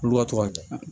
Olu ka to ka taa